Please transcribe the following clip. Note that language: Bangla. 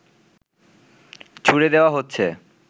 ছুড়ে দেওয়া হচ্ছে